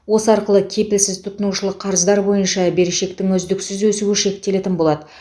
осы арқылы кепілсіз тұтынушылық қарыздар бойынша берешектің үздіксіз өсуі шектелетін болады